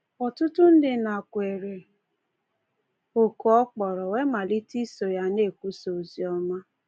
Ọtụtụ ndị nakweere oku ọ kpọrọ wee malite iso ya na-ekwusa oziọma.